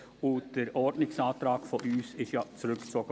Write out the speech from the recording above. Unser Ordnungsantrag wurde ja zurückgezogen.